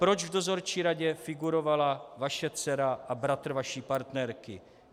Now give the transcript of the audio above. Proč v dozorčí radě figurovala vaše dcera a bratr vaší partnerky?